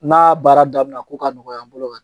N'a baara daminɛna ko ka nɔgɔya bolo ka